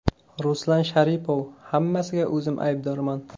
Ruslan Sharipov: Hammasiga o‘zim aybdorman.